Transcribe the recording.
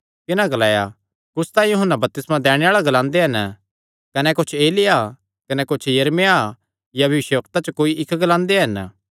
तिन्हां ग्लाया कुच्छ तां यूहन्ना बपतिस्मा दैणे आल़ा ग्लांदे हन कने कुच्छ एलिय्याह कने कुच्छ यिर्मयाह या भविष्यवक्ता च कोई इक्क ग्लांदे हन